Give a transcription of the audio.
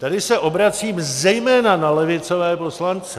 Tady se obracím zejména na levicové poslance.